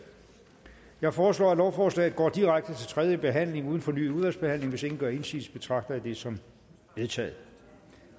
jeg foreslår at lovforslaget går direkte til tredje behandling uden fornyet udvalgsbehandling hvis ingen gør indsigelse betragter jeg det som vedtaget